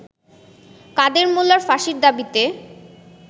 কাদের মোল্লার ফাঁসির দাবিতে